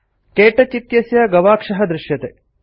क्तौच इत्यस्य गवाक्षः दृश्यते